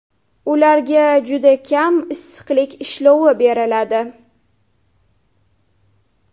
Ularga juda kam issiqlik ishlovi beriladi.